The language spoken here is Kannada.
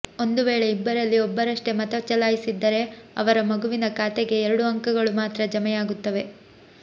ಒಂದು ವೇಳೆ ಇಬ್ಬರಲ್ಲಿ ಒಬ್ಬರಷ್ಟೇ ಮತ ಚಲಾಯಿಸಿದ್ದರೆ ಅವರ ಮಗುವಿನ ಖಾತೆಗೆ ಎರಡು ಅಂಕಗಳು ಮಾತ್ರ ಜಮೆಯಾಗುತ್ತವೆ